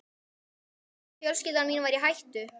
Ég hélt að fjölskylda mín væri í hættu.